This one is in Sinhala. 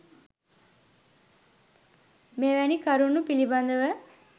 මෙවැනි කරුණු පිළිබඳ ව